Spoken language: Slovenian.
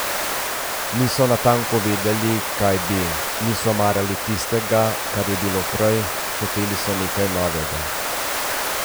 Niso natanko vedeli, kaj bi, niso marali tistega, kar je bilo prej, hoteli so nekaj novega.